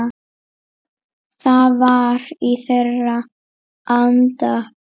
Það var í þeirra anda.